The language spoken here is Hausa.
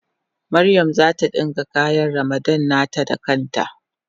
Mariam zata dinka kayan Ramadan nata da kan ta.